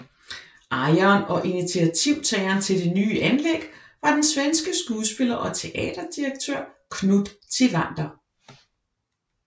Ejeren og initiativtageren til det nye anlæg var den svenske skuespiller og teaterdirektør Knut Tivander